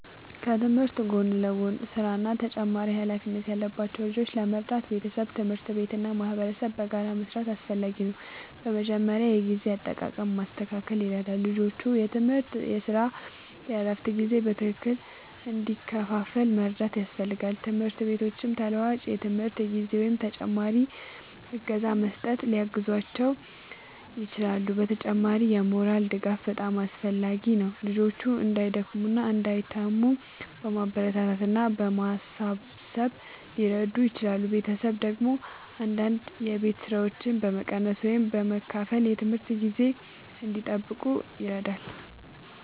ከትምህርት ጎን ለጎን ሥራ እና ተጨማሪ ኃላፊነት ያለባቸው ልጆችን ለመርዳት ቤተሰብ፣ ትምህርት ቤት እና ማህበረሰብ በጋራ መስራት አስፈላጊ ነው። በመጀመሪያ የጊዜ አጠቃቀም ማስተካከል ይረዳል፤ ልጆቹ የትምህርት፣ የሥራ እና የእረፍት ጊዜ በትክክል እንዲከፋፈል መርዳት ያስፈልጋል። ትምህርት ቤቶችም ተለዋዋጭ የትምህርት ጊዜ ወይም ተጨማሪ እገዛ በመስጠት ሊያግዟቸው ይችላሉ። በተጨማሪም የሞራል ድጋፍ በጣም አስፈላጊ ነው፤ ልጆቹ እንዳይደክሙ እና እንዳይተዉ በማበረታታት እና በማሳሰብ ሊረዱ ይችላሉ። ቤተሰብ ደግሞ አንዳንድ የቤት ሥራዎችን በመቀነስ ወይም በመከፋፈል የትምህርት ጊዜ እንዲጠብቁ ይረዳል።